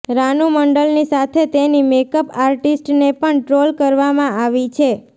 રાનુ મંડલની સાથે તેની મેકઅપ આર્ટિસ્ટને પણ ટ્રોલ કરવામાં આવી છે